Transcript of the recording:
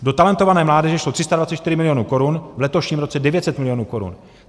Do Talentované mládeže šlo 324 milionů korun, v letošním roce 900 milionů korun.